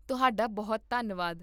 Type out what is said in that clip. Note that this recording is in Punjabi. ਤੁਹਾਡਾ ਬਹੁਤ ਧੰਨਵਾਦ